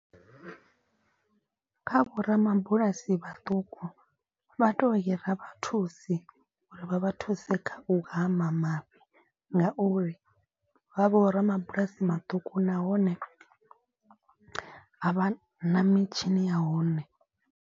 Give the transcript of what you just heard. Kha vho ramabulasi vhaṱuku vha to hira vha thusi uri vha vha thuse kha u hama mafhi. Ngauri vha vho ramabulasi maṱuku nahone a vha na mitshini ya hone.